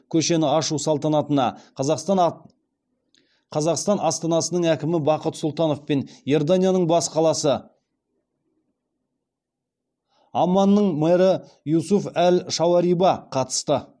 көшені ашу салтанатына қазақстан астанасының әкімі бақыт сұлтанов пен иорданияның бас қаласы амманның мэрі юсуф әл шауариба қатысты